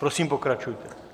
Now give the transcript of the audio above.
Prosím, pokračujte.